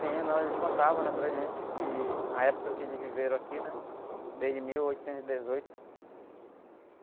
Sim, não, eles contavam, né? Para a gente, que, a época que eles viveram aqui, né? Desde mil oitocentos e dezoito.